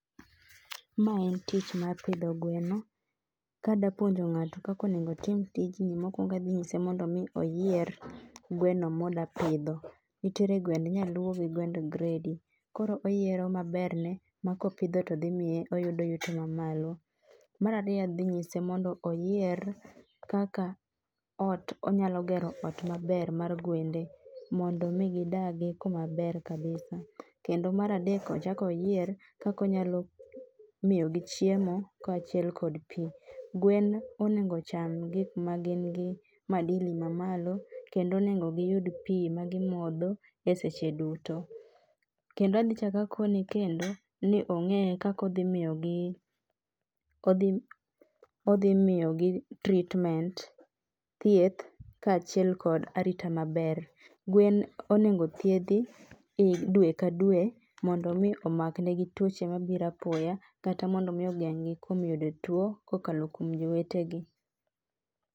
Ma en tich mar pidho gweno. Kadapuonjo ng'ato kakonegotim tijni mokwongo adhi nyise mondo mi oyier gweno modwapidho. Nitiere gwend nyaluo gi gwend gredi, koro oyiero maberne ma kopidho to dhimiye oyudo yuto mamalo. Marariyo adhi nyise mondo oyier kaka ot onyalo gero ot maber mar gwende mondo mi gidagi kumamaber kabisa. Kendo maradek ochakoyier kakonyalo miyogi chiemo kaachiel kod pi. Gwen onego ocham gik ma gin gik ma nigi madili mamalo kendo onego giyud pi ma gimodho e seche duto. Kendo adhi chakakoni kendo ni ong'e kakodhi miyogi, odhi miyogi treatment, thieth, kaachiel kod arita maber. Gwen onego thiedhi dwe ka dwe maondo mi omakne gi tuoche mabiro apoya, kata mondo mi ogeng'gi kuom yudo tuo kokalo kuom jowetegi.